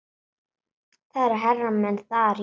Það eru hermenn þar, jú.